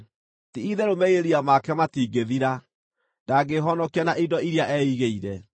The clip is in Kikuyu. “Ti-itherũ merirĩria make matingĩthira; ndangĩĩhonokia na indo iria eigĩire.